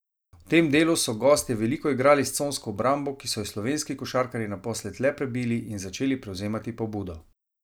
V tem delu so gostje veliko igrali s consko obrambo, ki so jo slovenski košarkarji naposled le prebili in začeli prevzemati pobudo.